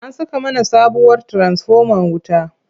An saka mana sabuwar tiransifomar wuta.